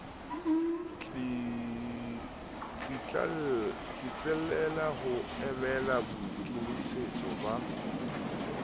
tsitlallela ho emela boikemisetso ba